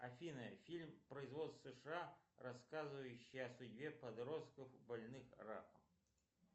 афина фильм производства сша рассказывающий о судьбе подростков больных раком